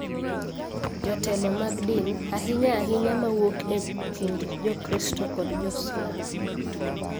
Jotelo mag din. ahinya ahinya ma wuok e kind Jokristo kod Jo-Salam.